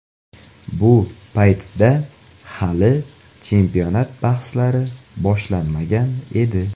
Bu paytda hali chempionat bahslari boshlanmagan edi.